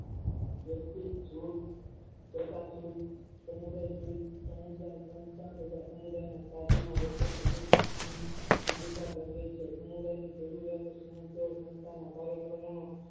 વસ્તુ જોત પ્રકાશિત સમુદાય સીટ તથા સમુદાયની સંસ્થા સાધનો વચ્ચે મુજબ ગજવે છે સમુદાયની જરૂરિયાત સમસ્યા સંસ્થાનો કાર્યક્રમોનો